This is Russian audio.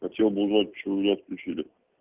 хотел бы узнать почему мне отключили